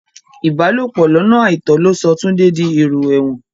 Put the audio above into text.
Ìbálòpò lọ́nà àìtọ́ ló sọ Túndé di ẹ̀rò èrò ẹ̀wọ̀n